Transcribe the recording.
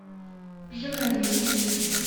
жакареи